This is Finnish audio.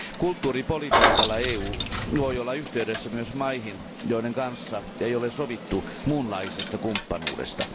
Kulttuuripolitiikalla EU voi olla yhteydessä myös maihin, joiden kanssa ei ole sovittu muunlaisesta kumppanuudesta.